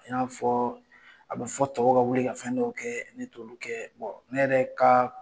I n'a fɔ a bɛ fɔ tɔw ka wili ka fɛn dɔw kɛ, ne t'olu kɛ. ne yɛrɛ ka